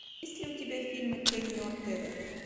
есть ли у тебя фильмы кенни ортега